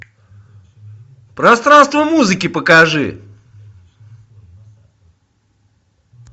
пространство музыки покажи